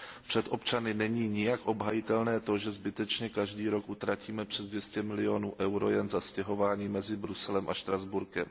Před občany není nijak obhajitelné to, že zbytečně každý rok utratíme přes 200 milionů eur jen za stěhování mezi Bruselem a Štrasburkem.